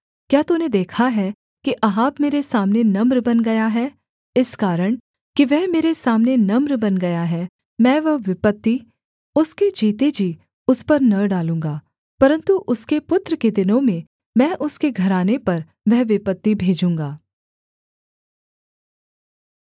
क्या तूने देखा है कि अहाब मेरे सामने नम्र बन गया है इस कारण कि वह मेरे सामने नम्र बन गया है मैं वह विपत्ति उसके जीते जी उस पर न डालूँगा परन्तु उसके पुत्र के दिनों में मैं उसके घराने पर वह विपत्ति भेजूँगा